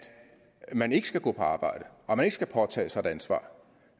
man ikke skal gå på arbejde og at man ikke skal påtage sig et ansvar